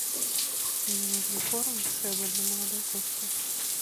мне нужен корм шеба для молодой кошки